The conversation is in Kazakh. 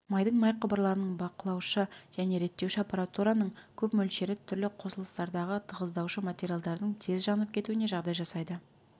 майдың май құбырларының бақылаушы және реттеуші аппаратураның көп мөлшері түрлі қосылыстардағы тығыздаушы материалдардың тез жанып кетуіне жағдай жасайды